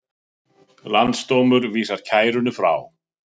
Landsdómur vísar kæru frá